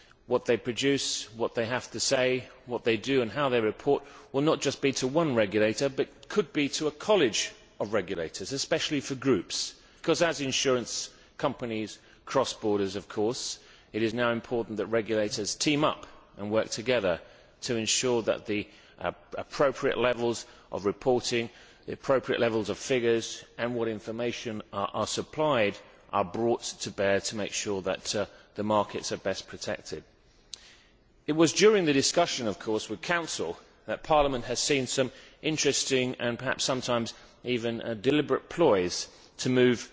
What they produce, what they have to say, what they do and how they report, will not just be to one regulator but it could be to a college of regulators, especially for groups, because, as insurance companies cross borders, it is now important that regulators team up and work together to ensure that the appropriate levels of reporting, the appropriate levels of figures and what information is supplied, are brought to bear to make sure that the markets are best protected. It was during the discussion with the Council that Parliament saw some interesting and perhaps sometimes even deliberate ploys to move